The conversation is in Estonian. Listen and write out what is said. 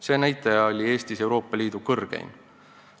See näitaja oli Eestis Euroopa Liidu kõrgeim.